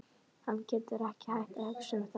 Hann getur ekki hætt að hugsa um það.